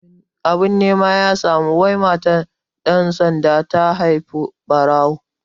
Abin nema ya samu wai matar ɗan sanda ta haihi ɓarawo